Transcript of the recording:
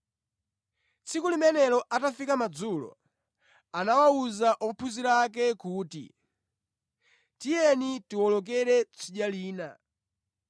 Tsiku limenelo atafika madzulo, anawuza ophunzira ake kuti, “Tiyeni tiwolokere tsidya lina.”